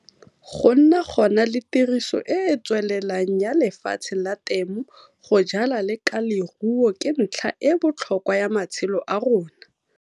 Go nna gona le tiriso e e tswelelang ya lefatshe la temo go jala le ka leruo ke ntlha e e botlhokwa ya matshelo a rona.